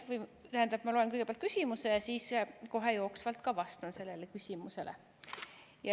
Või, tähendab, ma loen kõigepealt küsimuse ja siis kohe jooksvalt ka vastan sellele küsimusele.